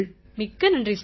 மிக்க நன்றி சார்